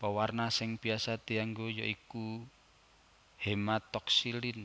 Pewarna sing biasa dianggo ya iku hematoxylin